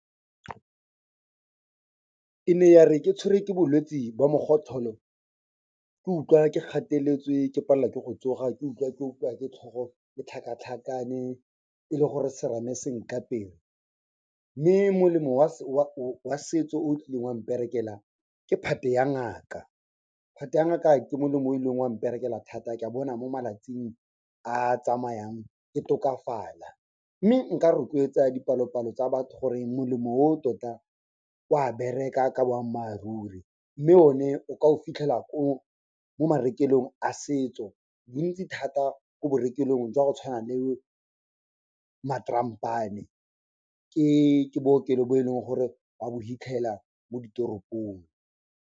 E ne yare ke tshwerwe ke bolwetsi bo mogotlholo, ke utlwa ke gateletswe ke palelwa ke go tsoga, ke utlwa ke opiwa ke tlhogo, ke tlhakatlhakane e le gore serame se nkapere mme molemo wa setso o kileng wa mperekela, ke phate ya ngaka. Phate ya ngaka ke molemo o ileng wa mperekela thata, ka bona mo malatsing a tsamayang ke tokafala. Mme nka rotloetsa dipalopalo tsa batho gore molemo o tota o a bereka ka boammaaruri, mme o ne o ka o fitlhela mo marekelong a setso bontsi thata ko borekelong jwa go tshwana le Matrampane. Ke, bookelo bo e leng gore o a bo fitlhela mo ditoropong.